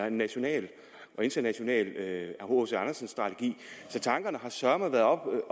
en national og international hc andersen strategi så tankerne har søreme været oppe